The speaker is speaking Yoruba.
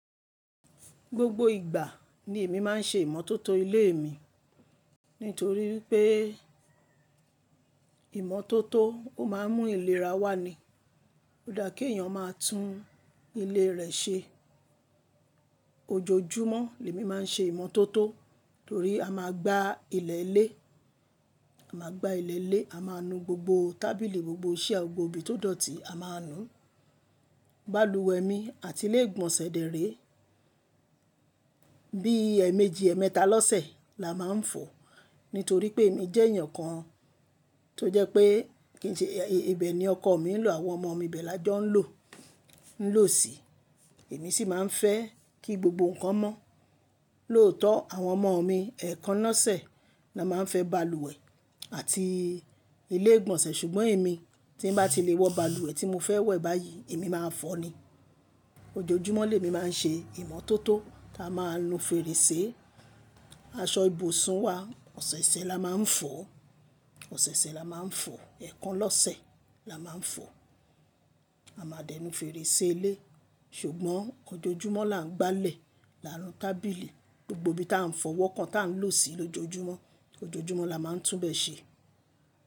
Gbogbo ìgbà ni èmi máa ń ṣe ìmọ́tótó ilé mi. Nítorí pé ìmọ́tótó ó máa ń mú ìlera wá ni. Ó dá kí èèyàn máa tún ilé rẹ̀ ṣe. Ojojúmọ́ ni èmi máa ń ṣe ìmọ́tótó torí a máa gbá ilẹ̀ ilé, a máa gbá ilẹ̀ ilé, a máa nu gbogbo tábìlì, gbogbo chair gbogbo ibi tó dọ̀tí a máa nu. Balùwẹ̀ mi àti ilé ìgbọ̀nsẹ̀ de rè. Bí èèmejì, èémeta lọ́sẹ̀ la máa ń fọ. Nítorí pé èmi jẹ́ èèyàn kan tó jẹ́ pé kí n ṣe, ẹbẹ̀ ni ọkọ mi ń lò, àwọn ọmọ mi bẹ́ẹ̀ la jọ ń lò, ń lò sí i. Èmi sì máa ń fẹ́ kí gbogbo nǹkan mọ́. Lóòótọ́ àwọn ọmọ mi èékánná lọ́sẹ̀ la máa ń fẹ́ balùwẹ̀ àti ilé ìgbọ̀nsẹ̀. Ṣùgbọ́n èmi tí bá ti lè wọ balùwẹ̀ tí mo fẹ́ wọ̀ báyìí, èmi máa fọ ni. Ojojúmọ́ ni èmi máa ń ṣe ìmọ́tótó tá a máa ń nu fèrèsé, aṣọ ìbùsùn wa, ọ̀sẹ̀ẹ̀sẹ̀ la máa ń fọ, ọ̀sẹ̀ẹ̀sẹ̀ la máa ń fọ, èékánná lọ́sẹ̀ la máa ń fọ. A máa dẹnu fèrèsé ilé. Ṣùgbọ́n ojoojúmọ́ la ń gbálẹ̀, la ń nu tábìlì, gbogbo ibi tí a ń fọwọ́ kan tí à ń lò sí i lójoojúmọ́. Ojoojúmọ́ la máa ń túbẹ̀ ṣe.